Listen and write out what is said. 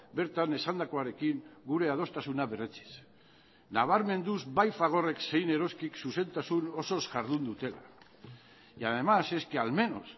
bertan esandakoarekin gure adostasuna berretsiz nabarmenduz bai fagorek zein eroskik zuzentasun osoz ihardun dutela y además es que al menos